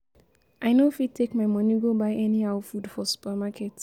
I no fit take my money go buy anyhow food for supermarket.